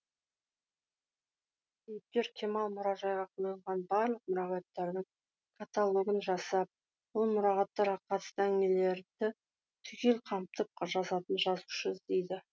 кейіпкер кемал мұражайға қойылған барлық мұрағаттардың каталогын жасап бұл мұрағаттарға қатысты әңгімелерді түгел қамтып жазатын жазушы іздейді